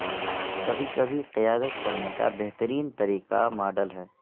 کبھی کبھی قیادت کرنے کا بہترین طریقہ ماڈل ہے